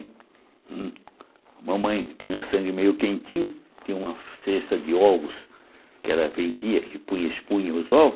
A mamãe tinha sangue meio quentinho, tinha uma cesta de ovos que ela vendia, que punha espunha os ovos.